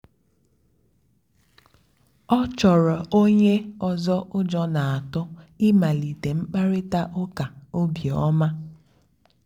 ọ́ chọ́ọ́rọ́ ónyé ọ́zọ́ ụ́jọ́ n'átụ̀ ị̀màlíté mkpàrị́tà ụ́ká óbíọ́mà.